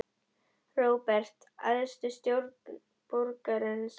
Róbert: Æðstu stjórn borgarinnar?